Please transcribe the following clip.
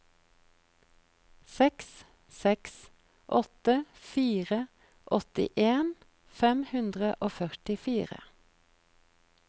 seks seks åtte fire åttien fem hundre og førtifire